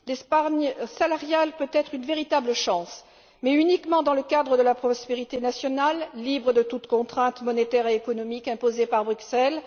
L'épargne salariale peut être une véritable chance, mais uniquement dans le cadre de la prospérité nationale, libre de toute contrainte monétaire et économique imposée par Bruxelles.